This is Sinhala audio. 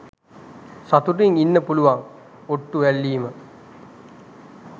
සතුටින් ඉන්න පුළුවන් ඔට්ටු ඇල්ලීම.